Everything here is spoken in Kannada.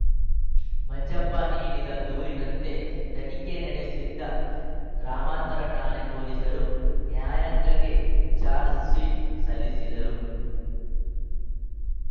ಮಂಜಪ್ಪ ನೀಡಿದ ದೂರಿನಂತೆ ತನಿಖೆ ನಡೆಸಿದ್ದ ಗ್ರಾಮಾಂತರ ಠಾಣೆ ಪೊಲೀಸರು ನ್ಯಾಯಾಲಯಕ್ಕೆ ಚಾರ್ಜ್ ಶೀಟ್‌ ಸಲ್ಲಿಸಿದ್ದರು